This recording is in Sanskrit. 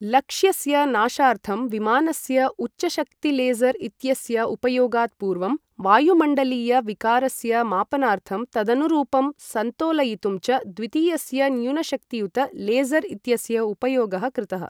लक्ष्यस्य नाशार्थं विमानस्य उच्चशक्तिलेज़र् इत्यस्य उपयोगात् पूर्वं वायुमण्डलीय विकारस्य मापनार्थं तदनुरूपं सन्तोलयितुं च द्वितीयस्य न्यूनशक्तियुत लेज़र् इत्यस्य उपयोगः कृतः।